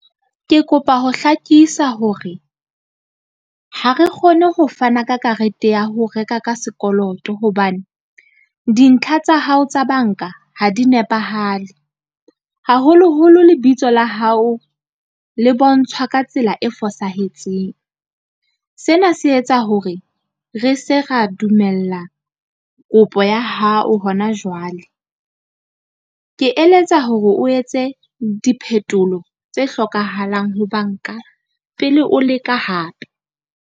Ke kopa ho hlakisa hore ha re kgone ho fana ka karete ya ho reka ka sekoloto. Hobane dintlha tsa hao tsa banka ha di nepahale, haholoholo lebitso la hao le bontshwa ka tsela e fosahetseng. Sena se etsa hore re se ra dumella kopo ya hao hona jwale. Ke eletsa hore o etse diphetolo tse hlokahalang ho banka pele o leka hape.